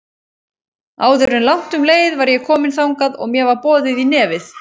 Áður en langt um leið var ég komin þangað og mér var boðið í nefið.